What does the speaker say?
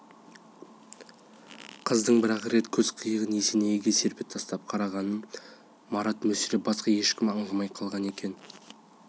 қыздың бір-ақ рет көз қиығын есенейге серпе тастап қарағанын марат мүсірептен басқа ешкім аңдамай қалған екен